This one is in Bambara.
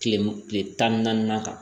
Tile tan ni naani kan